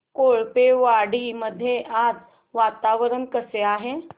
कोळपेवाडी मध्ये आज वातावरण कसे आहे